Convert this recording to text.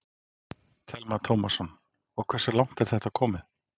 Telma Tómasson: Og hversu langt er þetta komið?